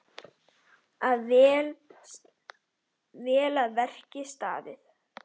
Vel að verki staðið.